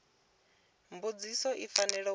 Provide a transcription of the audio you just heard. mbudziso i fanela uri i